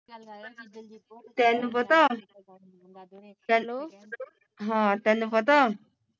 ਤੈਨੂੰ ਪਤਾ, ਹਾਂ ਤੈਨੂੰ ਪਤਾ